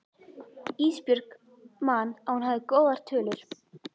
Ísbjörg man að hún hafði góðar tölur.